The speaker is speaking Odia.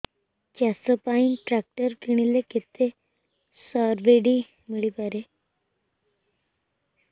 ଚାଷ ପାଇଁ ଟ୍ରାକ୍ଟର କିଣିଲେ କେତେ ସବ୍ସିଡି ମିଳିପାରିବ